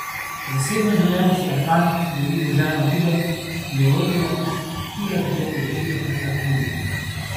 Zasebno življenje si Erkan deli z ženo Didem, geologinjo, ki ga je pred leti rešila pred alkoholizmom.